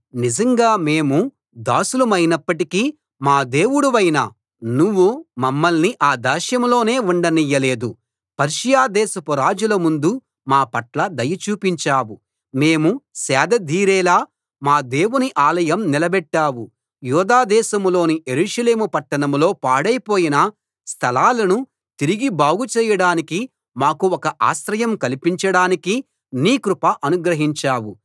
నిజంగా మేము దాసులమైనప్పటికీ మా దేవుడివైన నువ్వు మమ్మల్ని ఆ దాస్యంలోనే ఉండనియ్యలేదు పర్షియా దేశపు రాజుల ముందు మా పట్ల దయ చూపించావు మేము సేదదీరేలా మా దేవుని ఆలయం నిలబెట్టావు యూదా దేశంలోని యెరూషలేము పట్టణంలో పాడైపోయిన స్థలాలను తిరిగి బాగుచేయడానికి మాకు ఒక ఆశ్రయం కల్పించడానికి నీ కృప అనుగ్రహించావు